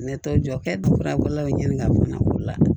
Ne t'o jɔ kɛ dufalaw ɲini ka fana boli la